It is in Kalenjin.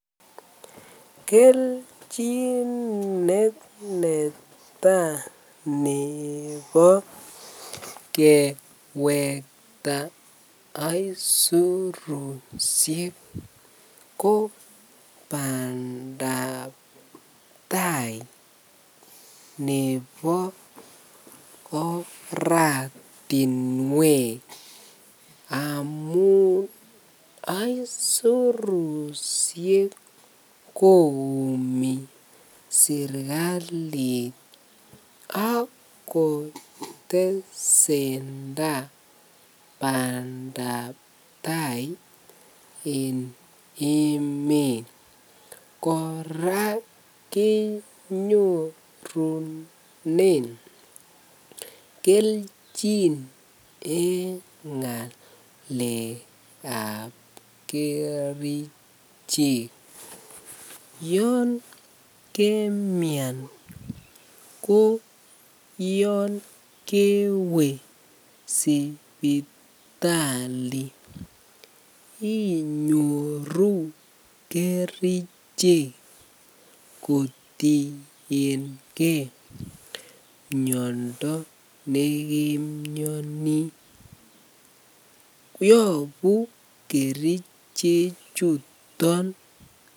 Kelchin neneta nebo kewekta aisurushek ko bandab taai nebo oratinwek amun aisurushek koyumi serikalit ak kotesenda bandab taai en emet, kora kenyorunen kelchin en ngalekab kerichek, yoon kemian ko yoon kewee sipitali inyoru kerichek kotienge miondo nekemioni, yobu kerichechuton.